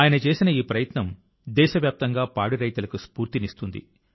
ఆయన చేసిన ఈ ప్రయత్నం దేశవ్యాప్తంగా పాడి రైతులకు స్ఫూర్తినిస్తుంది